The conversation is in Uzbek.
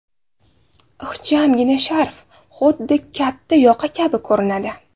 Ixchamgina sharf xudda katta yoqa kabi ko‘rinadi.